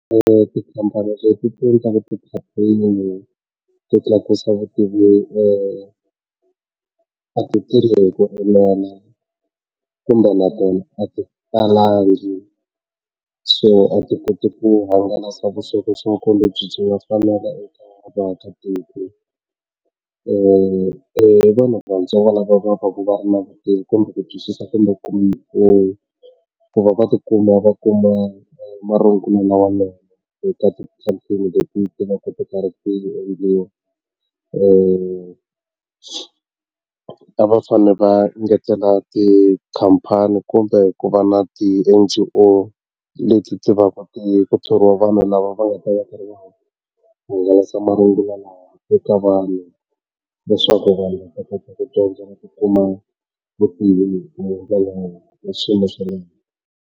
tikhampani leti ti endlaka ti-campaign i to tlakusa vutivi e a ti tirhi hi ku enela kumbe na tona a ti talangi so a ti koti ku hangalasa vuxokoxoko lebyi eka vaakatiko i vanhu vatsongo lava va va ku va na vutivi kumbe ku twisisa kumbe ku va va tikuma va kuma marungula lawanene eka ti campaign leti tivaka ti karhi ti endliwi a va fanele va ngetela tikhampani kumbe ku va na ti leti tivaka ti ku thoriwa vanhu lava va nga ta hakeriwa ku hangalasa mahungu lawa eka vanhu leswaku vanhu va kota ku dyondza ku kuma vutivi kumbe ndlela yo swilo swa le .